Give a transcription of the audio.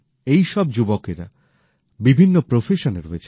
এই সব যুবকেরা বিভিন্ন প্রফেশনে রয়েছেন